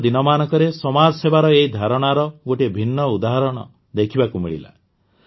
ବିଗତ ଦିନମାନଙ୍କରେ ସମାଜ ସେବାର ଏହି ଧାରଣାର ଗୋଟିଏ ଭିନ୍ନ ଉଦାହରଣ ଦେଖିବାକୁ ମିଳିଲା